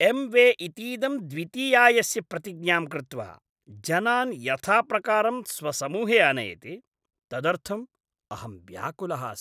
M वे इतीदं द्वितीयायस्य प्रतिज्ञां कृत्वा जनान् यथाप्रकारं स्वसमूहे आनयति, तदर्थं अहं व्याकुलः अस्मि।